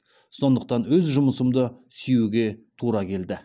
сондықтан өз жұмысымды сүюге тура келді